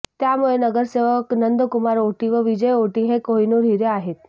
त्यामुळे नगरसेवक नंदकुमार औटी व विजय औटी हे कोहिनूर हिरे आहेत